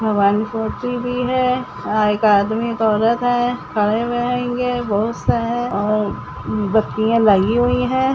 Factory भी है और एक आदमी औरत हैखड़े हुए हैंगे बहोत से हैं और बकरिया लगी हुई हैं।